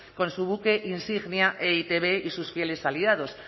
con su buque insignia e i te be y sus fieles aliados